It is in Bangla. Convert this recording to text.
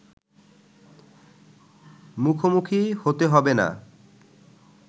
মুখোমুখি হতে হবে না